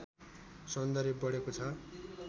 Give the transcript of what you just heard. सौन्दर्य बढेको छ